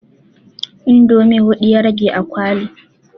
Indomi hudu ya rage a kwali